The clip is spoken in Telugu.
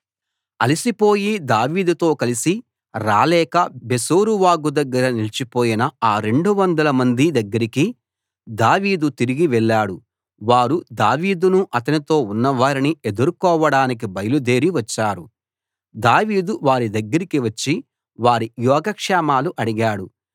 అలిసి పోయి దావీదుతో కలిసి రాలేక బెసోరు వాగు దగ్గర నిలిచిపోయిన ఆ 200 మంది దగ్గరకి దావీదు తిరిగి వెళ్ళాడు వారు దావీదును అతనితో ఉన్నవారిని ఎదుర్కొనడానికి బయలుదేరి వచ్చారు దావీదు వారి దగ్గరకి వచ్చి వారి యోగక్షేమాలు అడిగాడు